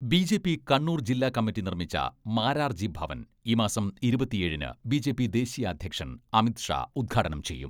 BJP Kannur ജില്ലാ committee നിർമ്മിച്ച മാരാർജി ഭവൻ ഈ മാസം ഇരുപത്തിയേഴിന് ബിജെപി ദേശീയാധ്യക്ഷൻ അമിത് ഷാ ഉദ്ഘാടനം ചെയ്യും.